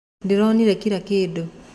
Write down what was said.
Ndĩronire kĩra kĩndũ.